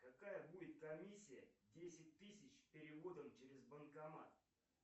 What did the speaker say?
какая будет комиссия десять тысяч переводом через банкомат